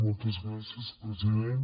moltes gràcies president